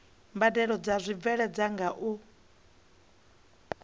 mbadelo dzo bveledzwaho nga u